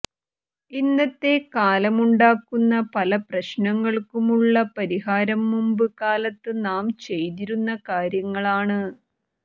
ഇന്നത്തെ കാലമുണ്ടാക്കുന്ന പല പ്രശ്നങ്ങള്ക്കുമുള്ള പരിഹാരം മുമ്പ് കാലത്ത് നാം ചെയ്തിരുന്ന കാര്യങ്ങളാണ്